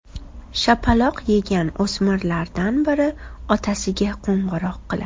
Shapaloq yegan o‘smirlardan biri otasiga qo‘ng‘iroq qiladi.